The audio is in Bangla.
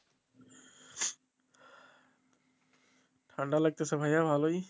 ঠান্ডা লাগতেছে ভাইয়া ভালোই